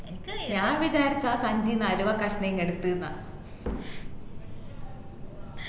ഞാൻ വിചാരിച്ച അഹ് സഞ്ചിന്ന് അലുവക്കഷ്ണം ഇങ്ങ് എടുത്ത്ന്ന